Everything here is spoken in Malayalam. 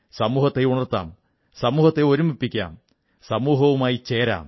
സമൂഹത്തെ ഉണർത്താം സമൂഹത്തെ ഒരുമിപ്പിക്കാം സമൂഹവുമായി ചേരാം